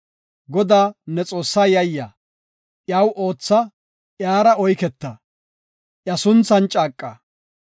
Godaa, ne Xoossaa yayya; iyaw ootha; iyara oyketa; iya sunthan caaqa.